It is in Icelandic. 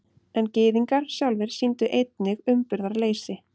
En Gyðingar sjálfir sýndu einnig umburðarleysi.